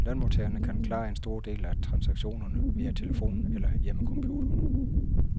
Lønmodtagerne kan klare en stor del af transaktionerne via telefonen eller hjemmecomputeren.